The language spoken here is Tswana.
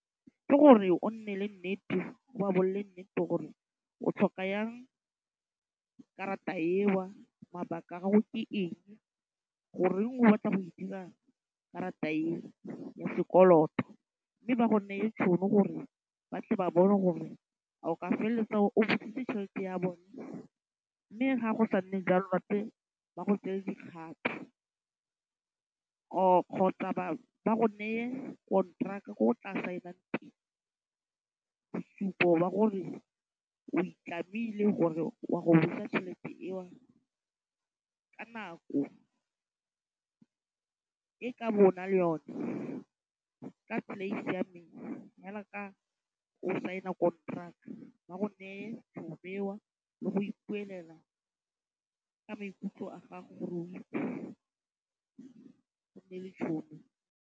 Ke gore o nne le nnete o ba bolelle nnete gore o tlhoka jang karata eo, mabaka a gago ke eng, go reng o batla go e dira karata e mo sekoloto. Mme ba go neye tšhono gore ba tle ba bone gore a o ka felletsa o buisitse tšhelete ya bone. Mme ga go sa nne jalo ba tle bo ba go tseele dikgato or kgotsa ba go neye konteraka ko o tla sign-ang teng bosupo ba gore o itlamile gore wa go busa tšhelete eo ka nako o tla bo o nale le yone. Ka siameng jalo ka o sign-a konteraka. Ba go nee tšhono eo le go ipuelela ka maikutlo a gago gore go nne le tšhono.